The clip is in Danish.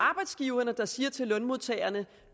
arbejdsgiverne der siger til lønmodtagerne